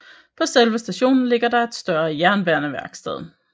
På selve stationen ligger der et større jernbaneværksted